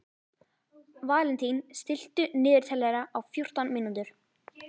Valentín, stilltu niðurteljara á fjórtán mínútur.